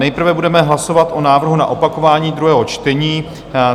Nejprve budeme hlasovat o návrhu na opakování druhého čtení.